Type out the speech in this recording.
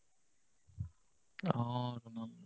অ,